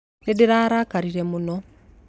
Nĩ ndarakarire mũno.